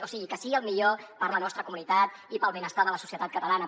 o sigui que sigui el millor per a la nostra comunitat i per al benestar de la societat catalana